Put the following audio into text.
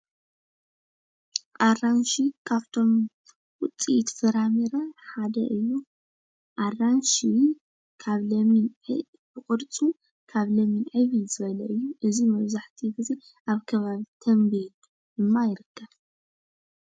ኣራንሺ ካብቶም ዉፂኢት ፍረምረ ሓደ እዩ። ኣራንሺ ዉን ካብ ለሚን ብቅርጹ ዕብይ ዝበለ እዩ። መብዛሕቱኣኡ ግዜ ኣብ ከባቢ ተምቤን ድማ ይርከብ።